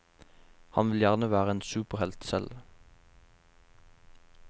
Han vil gjerne være en superhelt selv.